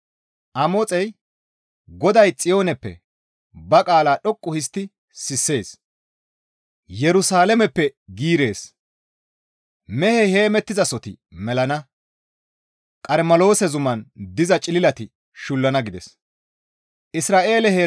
Amoxey, «GODAY Xiyooneppe ba qaala dhoqqu histti sissees; Yerusalaameppe giirees; mehey heemettizasoti melana; Qarmeloose zuman diza cililati shullana» gides.